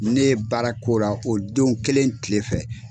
Ne ye baara k'o la, o don kelen kile fɛ.